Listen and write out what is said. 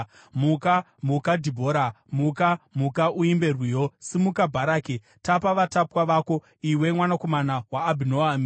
‘Muka, muka, Dhibhora! Muka, muka, uimbe rwiyo! Simuka, Bharaki! Tapa vatapwa vako, iwe mwanakomana waAbhinoami.’